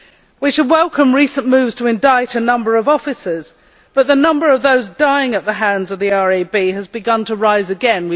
We should welcome recent moves to indict a number of officers, but the number of those dying at the hands of the RAB has begun to rise again.